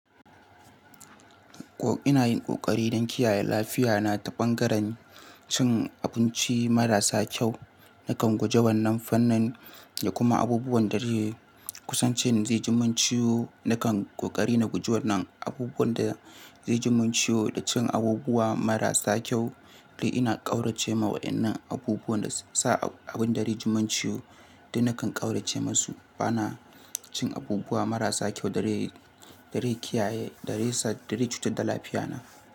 Ina yin ƙoƙari don kiyaye lafiya na ta bangaren cin abinci marasa kyau. Nakan guje wannan fannin da kuma abubuwan da dai kusance ni zai jimin ciwo. Nakan ƙoƙari na guje wannan abubuwan da zai jimin ciwo da cin abubuwa marasa kyau. Dai ina ƙaurace ma waɗannan abubuwan da sa abin da zai jimin ciwo. Dai nakan ƙaurace masu bana cin abubuwa marasa kyau da re, da re kiyaye, da re sa, da re cutar da lafiya na.